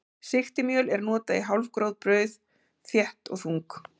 Sigtimjöl er notað í hálfgróf brauð, þétt og þung.